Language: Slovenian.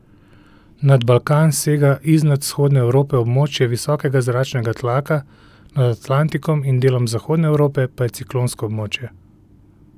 Nad Balkan sega iznad vzhodne Evrope območje visokega zračnega tlaka, nad Atlantikom in delom zahodne Evrope pa je ciklonsko območje.